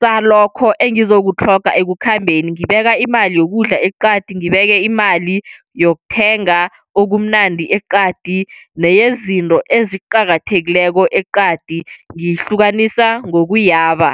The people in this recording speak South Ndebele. salokho engizokutlhoga ekukhambeni. Ngiyibeka imali yokudla eqadi. Ngibeke imali yokuthenga okumnandi eqadi, nezinto eziqakathekileko eqadi, ngiyihlukanisa ngokuyaba.